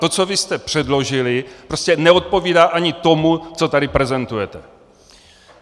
To, co vy jste předložili, prostě neodpovídá ani tomu, co tady prezentujete.